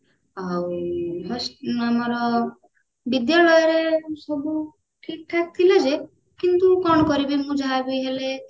ଆଉ first ଆମର ବିଦ୍ୟାଳୟରେ ସବୁ ଠିକ ଠାକ ଥିଲା ଯେ କିନ୍ତୁ କଣ କରିବି ମୁଁ ଯାହାବି ହେଲେ